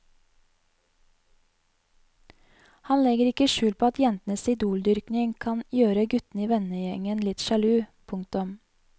Han legger ikke skjul på at jentenes idoldyrking kan gjøre guttene i vennegjengen litt sjalu. punktum